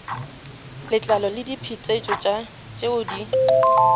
letlalo le diphetetšo tšeo di